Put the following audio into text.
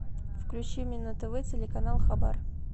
включи мне на тв телеканал хабар